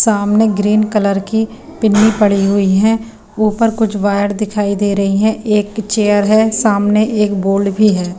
सामने green colour की पिनी पड़ी हुई है ऊपर कुछ वायर दिखाई दे रही है एक चेयर है सामने एक बोर्ड भी है।